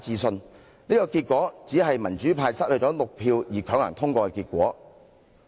上述表決結果，只是民主派失去6票而強行通過的結果。